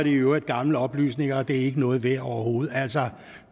i øvrigt gamle oplysninger og det er ikke noget værd overhovedet altså